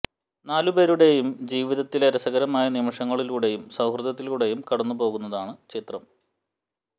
നാല് പേരുടേയും ജീവിതത്തിലെ രസകരമായ നിമിഷങ്ങളിലൂടേയും സൌഹൃദത്തിലൂടേയും കടന്നു പോകുന്നതാണ് ചിത്രം